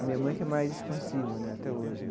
A minha mãe que é mais expansiva né até hoje.